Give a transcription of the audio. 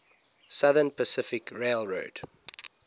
southern pacific railroad